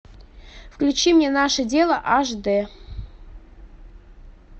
включи мне наше дело аш д